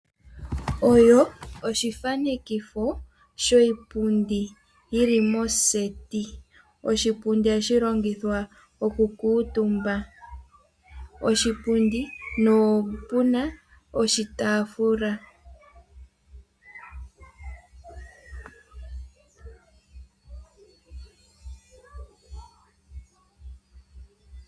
Oshithanekitho sho shipundi shili moseti. Oshipundi ohashi longithwa okukuutumbwa. Oshipundi nopuna oshitaafula.